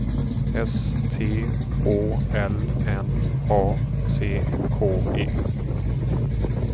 S T Å L N A C K E